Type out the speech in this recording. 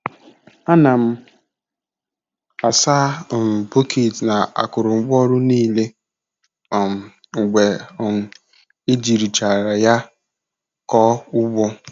Ana m asa um bọket na akurungwa ọru niile um mgbe um ejirichara ya koo ugbo.